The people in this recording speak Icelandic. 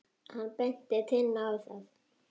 Hann benti Tinnu á það.